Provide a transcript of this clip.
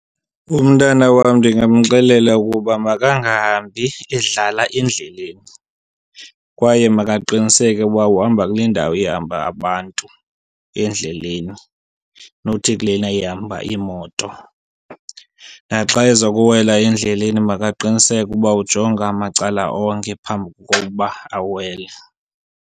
Umntana wam ndingamxelela ukuba makangahambi edlala endleleni kwaye makaqiniseke uba uhamba kule ndawo ihamba abantu endleleni nothi kulena ihamba iimoto. Naxa eza kuwela endleleni makaqiniseke uba ujonga amacala onke phambi kokuba awele.